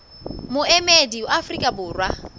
le moemedi wa afrika borwa